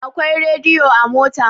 Akwai rediyo a mota.